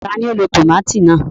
Tani o ló tomati náà?